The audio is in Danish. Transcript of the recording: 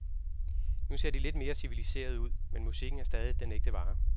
Nu ser de lidt mere civiliserede ud, men musikken er stadig den ægte vare.